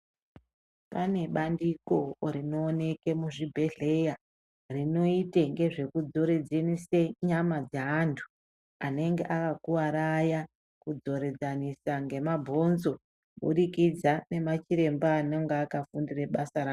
Pane bandiko rinooneke muzvibhedhlera, rinoite ngezve kudzoredzanise nyama dzevantu anenge akakuvara aya, kudzoredzanisa ngemabhonzo kuburikidza ngemachiremba anenge akafundira basa rawo.